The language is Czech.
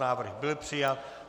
Návrh byl přijat.